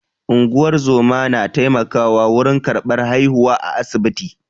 Unguwar zoma na taimakawa wurin karɓar haihuwa a asibiti.